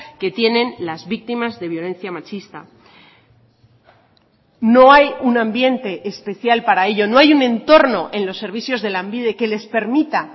que tienen las víctimas de violencia machista no hay un ambiente especial para ello no hay un entorno en los servicios de lanbide que les permita